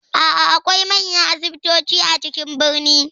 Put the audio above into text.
A'a, akwai manyan asibitoci a cikin birane.